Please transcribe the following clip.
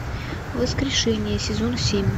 воскрешение сезон семь